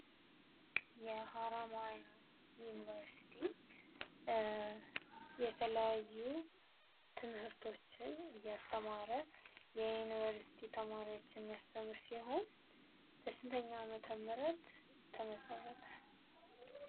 የሐረመያ ዩንቨርስቲ የተለያዩ ትምህርቶችን እያስተማረ የዩንቨርስቲ ተማሪዎችን የሚያስተምር ሲሆን በስንተኛው ዓመተ ምህረት ተመሠረተ?